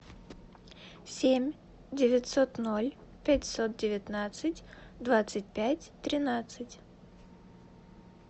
семь девятьсот ноль пятьсот девятнадцать двадцать пять тринадцать